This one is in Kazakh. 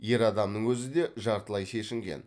ер адамның өзі де жартылай шешінген